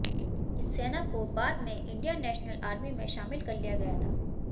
इस सेना को बाद में इंडियन नेशनल आर्मी में शामिल कर लिया गया था